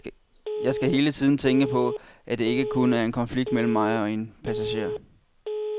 Jeg skal hele tiden tænke på, at det ikke kun er en konflikt mellem mig og en passager.